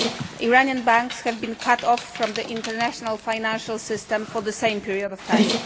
Iranian banks have been cut off from the international financial system for the same period of time.